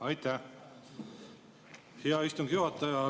Aitäh, hea istungi juhataja!